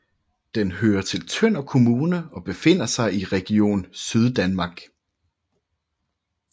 Den hører til Tønder Kommune og befinder sig i Region Syddanmark